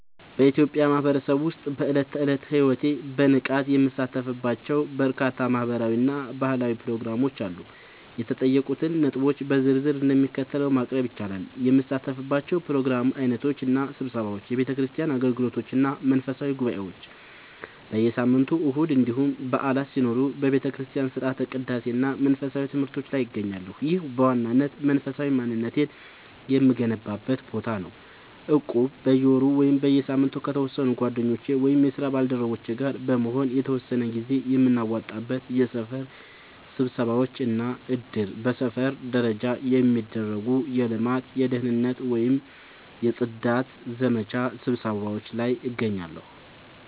በኢትዮጵያ ማህበረሰብ ውስጥ በዕለት ተዕለት ሕይወቴ በንቃት የምሳተፍባቸው በርካታ ማህበራዊ እና ባህላዊ ፕሮግራሞች አሉ። የተጠየቁትን ነጥቦች በዝርዝር እንደሚከተለው ማቅረብ ይቻላል፦ የምሳተፍባቸው የፕሮግራም ዓይነቶች እና ስብሰባዎች፦ የቤተክርስቲያን አገልግሎቶች እና መንፈሳዊ ጉባኤዎች፦ በየሳምንቱ እሁድ እንዲሁም በዓላት ሲኖሩ በቤተክርስቲያን ሥርዓተ ቅዳሴ እና መንፈሳዊ ትምህርቶች ላይ እገኛለሁ። ይህ በዋናነት መንፈሳዊ ማንነቴን የምገነባበት ቦታ ነው። እቁብ፦ በየወሩ ወይም በየሳምንቱ ከተወሰኑ ጓደኞቼ ወይም የስራ ባልደረቦቼ ጋር በመሆን የተወሰነ ገንዘብ የምናዋጣበት። የሰፈር ስብሰባዎች እና እድር፦ በሰፈር ደረጃ የሚደረጉ የልማት፣ የደህንነት ወይም የጽዳት ዘመቻ ስብሰባዎች ላይ እገኛለሁ።